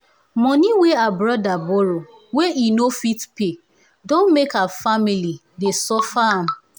moni wey her brother borrow wey e no fit pay don make her family dey suffer am